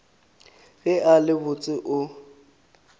ge a le botse o